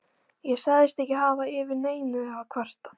Ég sagðist ekki hafa yfir neinu að kvarta.